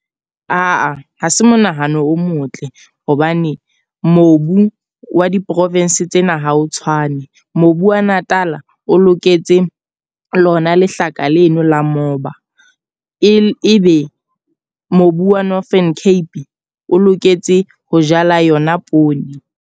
Aa, ha se monahano o motle. Hobane mobu wa di-province tsena ha o tshwane. Mobu wa Natal-a o loketse lona lehlaka leno la moba. E be mobu wa Northern Cape o loketse ho jala yona poone.